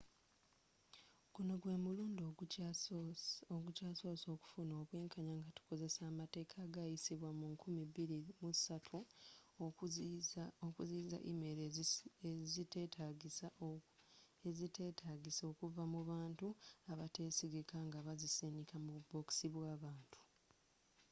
guno gwe mulundi ogukyasoose okufuna obwenkanya nga tukozesa amateeka agayisibwa mu 2003 okuziyiza email eziteetagisa okuva mu bantu abateesigika nga bazisindika mu bubokisi bw'abantu